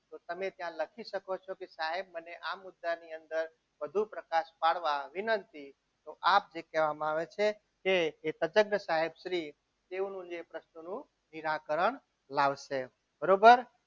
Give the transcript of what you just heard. તો તમે ત્યાં લખી શકો છો કે સાહેબ મને આ મુદ્દાની અંદર વધુ પ્રકાશ પાડવા વિનંતી તો આપ જે કહેવામાં આવે છે કે એ તજજ્ઞ સાહેબ શ્રી તેઓનું જે પ્રશ્નોનું નિરાકરણ લાવશે બરોબર